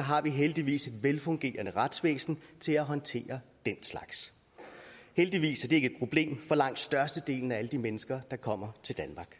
har vi heldigvis et velfungerende retsvæsen til at håndtere den slags heldigvis ikke et problem for langt størstedelen af alle de mennesker der kommer til danmark